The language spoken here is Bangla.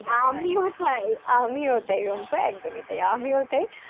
আমিও তাই আমিও তাই রুম্পা একদমই তাই আমিও তাই,